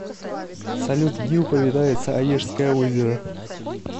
салют где упоминается онежское озеро